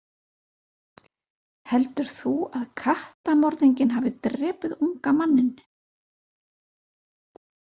Heldur þú að kattamorðinginn hafi drepið unga manninn?